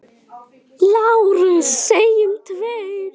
LÁRUS: Segjum tveir!